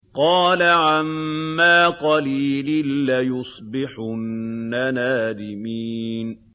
قَالَ عَمَّا قَلِيلٍ لَّيُصْبِحُنَّ نَادِمِينَ